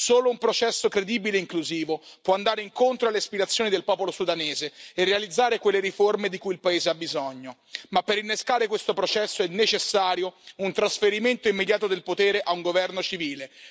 Solo un processo credibile e inclusivo può andare incontro alle aspirazioni del popolo sudanese e realizzare quelle riforme di cui il paese ha bisogno, ma per innescare questo processo è necessario un trasferimento immediato del potere a un governo civile.